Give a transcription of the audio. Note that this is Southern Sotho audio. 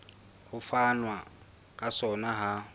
ho fanwa ka sona ha